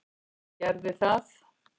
Ég gerði það.